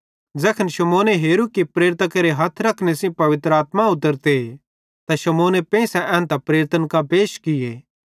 ज़ैखन शमौने हेरू कि प्रेरितां केरे हथ रखने सेइं पवित्र आत्मा उतरते त शमौने पेंइसे एन्तां प्रेरितन कां पैश किये